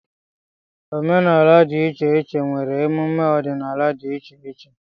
Omenala dị iche iche nwere emume ọdịnala di iche iche